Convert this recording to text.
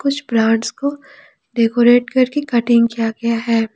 कुछ प्लांट्स को डेकोरेट करके कटिंग किया गया है।